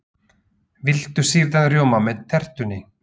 Viltu sýrðan rjóma með tertunni?